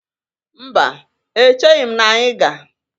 Mba, echighi m na anyị ga.